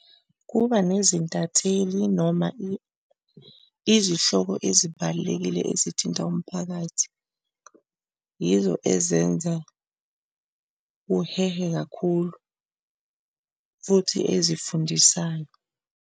Kuba nezintatheli noma izihlobo ezibalulekile ezithinta umphakathi, yizo ezenza kuhehe kakhulu futhi ezifundisayo.